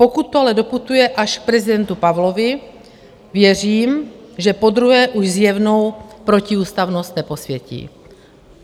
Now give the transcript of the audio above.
Pokud to ale doputuje až k prezidentu Pavlovi, věřím, že podruhé už zjevnou protiústavnost neposvětí.